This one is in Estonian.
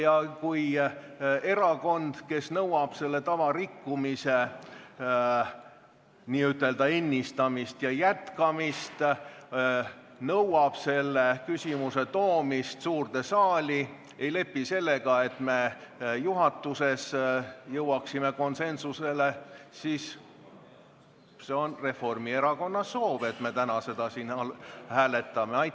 Aga kui erakond, kes nõuab selle tava rikkumise n-ö ennistamist ja jätkamist, nõuab selle küsimuse toomist suurde saali, ei lepi sellega, nii et me juhatuses jõuaksime konsensusele, siis me seda täna siin hääletamegi.